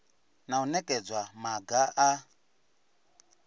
na u nekedza maga a